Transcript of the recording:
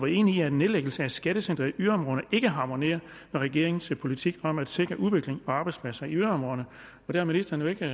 enig i at en nedlæggelse af skattecentre i yderområderne ikke harmonerer med regeringens politik om at sikre udviklingen på arbejdspladser i yderområderne og det har ministeren jo ikke